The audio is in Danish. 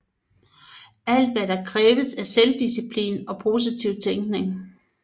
Alt hvad det kræver er selvdisciplin og positiv tænkning